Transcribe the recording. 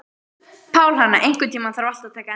Pálhanna, einhvern tímann þarf allt að taka enda.